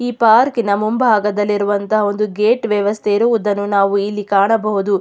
ಈ ಪಾರ್ಕಿನ ಮುಂಭಾಗದಲ್ಲಿ ಇರುವಂಥ ಒಂದು ಗೇಟ್ ವ್ಯವಸ್ಥೆ ಇರುವುದನ್ನು ನಾವು ಇಲ್ಲಿ ಕಾಣಬಹುದು.